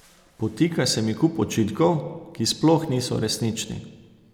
Podtika se mi kup očitkov, ki sploh niso resnični.